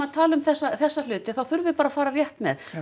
tölum um þessa þessa hluti þurfum við bara að fara rétt með